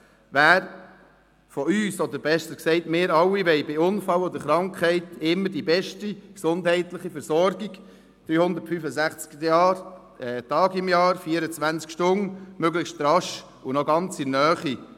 Wer von uns will nicht – oder besser gesagt, wir alle wollen – bei Unfall oder Krankheit während 365 Tagen im Jahr, 24 Stunden lang immer die beste gesundheitliche Versorgung haben, möglichst rasch und noch ganz in der Nähe?